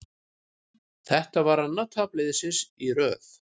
Þetta var annað tap liðsins í röð.